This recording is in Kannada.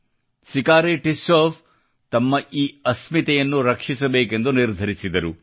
ಸಿಕಾರಿ ಟಿಸ್ಸೌ ಅವರು ತಮ್ಮ ಈ ಅಸ್ಮಿತೆಯನ್ನು ಗುರುತನ್ನು ರಕ್ಷಿಸಬೇಕೆಂದು ನಿರ್ಧರಿಸಿದರು